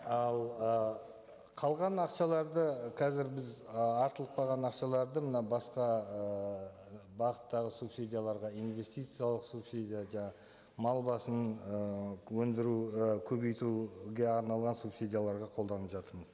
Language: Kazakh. ал ы қалған ақшаларды қазір біз ы артылып қалған ақшаларды мына басқа ыыы бағыттағы субсидияларға инвестициялық субсидия мал басын ы өндіру ы көбейтуге арналған субсидияларға қолданып жатырмыз